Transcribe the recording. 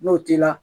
N'o t'i la